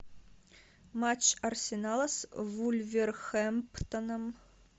матч арсенала с вулверхэмптоном